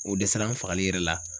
O dɛsɛra an fagali yɛrɛ la